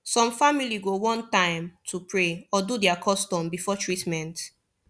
some family go want time to pray or do their custom before treatment